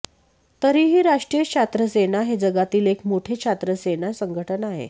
तरीही राष्ट्रीय छात्र सेना हे जगातील एक मोठे छात्रसेना संघटन आहे